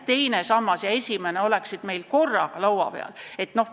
Teine ja esimene sammas peaksid korraga laua peal olema.